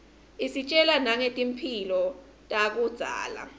isitjela nangetimphi takudzala